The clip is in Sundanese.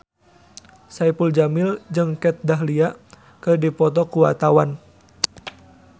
Saipul Jamil jeung Kat Dahlia keur dipoto ku wartawan